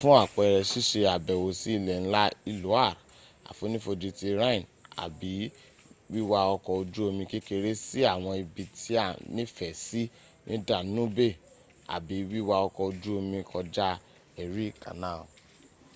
fún àpẹrẹ sísé àbẹ̀wò sí ilé ńlá iloire àfonífojì ti rhine àbí wíwá ọkọ̀ ojú omi kekeré sí àwọn ibi tí a nífẹ̀ẹ́ sí ní danube àbí wiwa ọkọ̀ ojú omi kọjá erie canal